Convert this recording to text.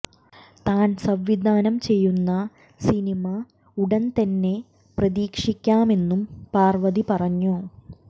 താൻ സംവിധാനം ചെയ്യുന്ന സിനിമ ഉടൻ തന്നെ പ്രതീക്ഷിക്കാമെന്നും പാർവതി പറഞ്ഞു